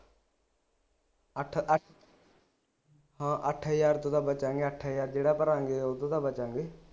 ਅੱਠ ਅੱਠ ਹਾ ਅੱਠ ਹਜਾਰ ਤੂੰ ਤਾ ਬਚੇਗਾ ਅੱਠ ਹਜਾਰ ਜਿਹੜਾ ਭਰਾਂਗੇ ਉਦੋਂ ਤਾ ਬਚਾਂਗੇ